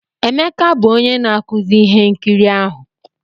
Emeka bụ onye na-akụzi ihe nkiri ahụ